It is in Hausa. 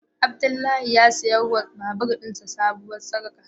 Abdullahi ya siya ma babur din sa sabuwar sarka.